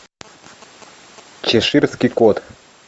чеширский кот